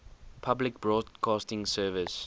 public broadcasting service